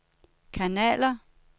kanaler